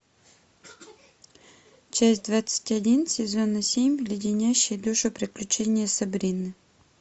часть двадцать один сезона семь леденящие душу приключения сабрины